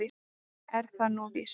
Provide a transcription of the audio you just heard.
Er það nú víst?